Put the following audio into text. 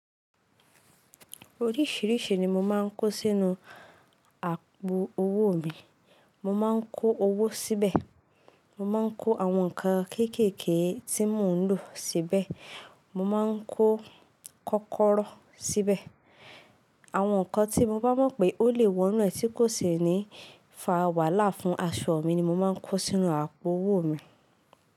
Oríṣìíríṣìí ni mo máa ń kó sínú àpò owó mi. Mo máa ń kó owó síbẹ̀, mo máa ń kó àwọn nǹkan kékèké tí mò ń lò síbẹ̀, mo máa ń kó kọ́kọ́rọ́ síbẹ̀. Àwọn nǹkan tí mo bá mọ̀ pé ó lè wọnú ẹ tí kò sì ní fà wàhálà fún aṣọ mi ni mo máa ń kó sínú àpò owó mi.